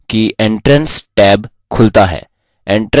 ध्यान दें कि entrance टैब खुलता है